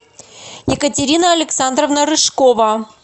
екатерина александровна рыжкова